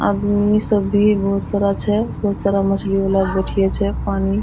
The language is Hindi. आदमी सब भी बहुत सारा छे बहुत सारा मछली वाला बैठिये छे पानी --